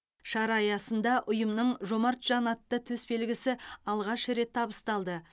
шара аясында ұйымның жомарт жан атты төсбелгісі алғаш рет табысталды